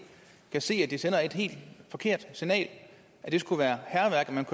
kan se at det sender et helt forkert signal at det skulle være hærværk at man